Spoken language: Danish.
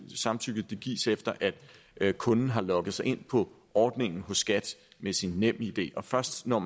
samtykket gives efter at kunden har logget sig ind på ordningen hos skat med sin nemid og først når